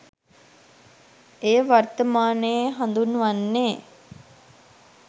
එය වර්තමානයේ හඳුන්වන්නේ